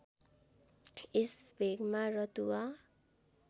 यस भेगमा रतुवा